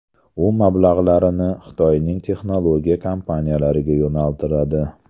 U mablag‘larini Xitoyning texnologiya kompaniyalariga yo‘naltiradi.